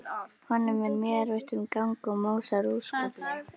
Honum er mjög erfitt um gang og másar óskaplega.